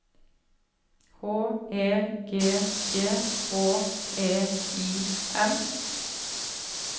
H E G G H E I M